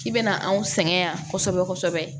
K'i bɛna anw sɛgɛn yan kosɛbɛ kosɛbɛ